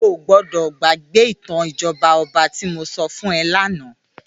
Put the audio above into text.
Óogbòdò gbàgbé itàn ijòbá òbá ti mó sò fún è làná